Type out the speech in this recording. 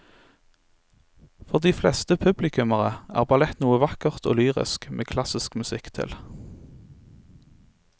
For de fleste publikummere er ballett noe vakkert og lyrisk med klassisk musikk til.